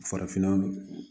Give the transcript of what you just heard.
Farafinna